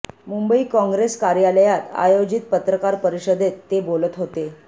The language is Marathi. मुंबई कॉंग्रेस कार्यालयात आयोजित पत्रकार परिषदेत ते बोलत होते